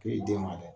K'i den ma dɛ